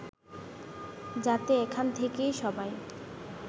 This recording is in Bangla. যাতে এখান থেকে সবাই